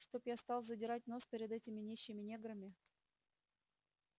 чтоб я стал задирать нос перед этими нищими неграми